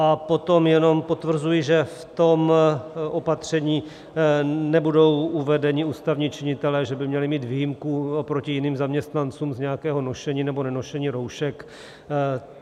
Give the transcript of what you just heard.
A potom jenom potvrzuji, že v tom opatření nebudou uvedeni ústavní činitelé, že by měli mít výjimku oproti jiným zaměstnancům z nějakého nošení nebo nenošení roušek.